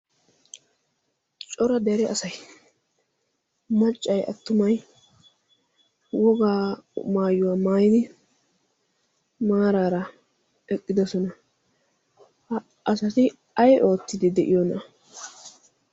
cora dere asay maccay attumai wogaa maayuwaa maaini maaraara eqqidosona. ha asati ay oottidi de'iyoona'a?